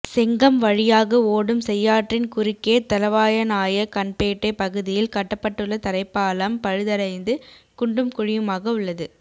செங்கம் வழியாக ஓடும் செய்யாற்றின் குறுக்கே தளவாநாய்க்கன்பேட்டை பகுதியில் கட்டப்பட்டுள்ள தரைப்பாலம் பழுதடைந்து குண்டும் குழியுமாக உள்ளது